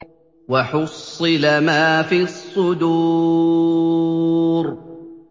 وَحُصِّلَ مَا فِي الصُّدُورِ